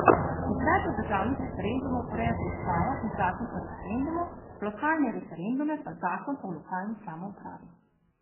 Izvedbo državnih referendumov urejata Ustava in Zakon o referendumu, lokalne referendume pa Zakon o lokalni samoupravi.